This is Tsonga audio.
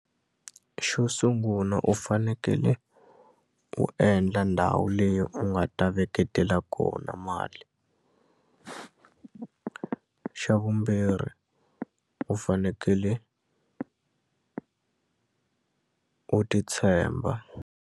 Xo sungula u fanekele u endla ndhawu leyi u nga ta veketela kona mali xa vumbirhi u fanekele u ti tshemba.